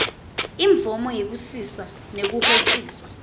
imvomo yekusisa nekuhociswa